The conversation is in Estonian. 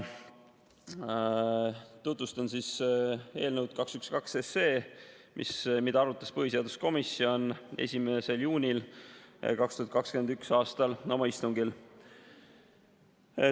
Tutvustan eelnõu 212, mida põhiseaduskomisjon arutas 1. juunil 2021. aastal oma istungil.